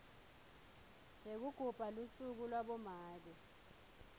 yekugubha lusuku labomake